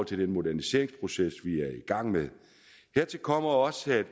til den moderniseringsproces i gang med hertil kommer også at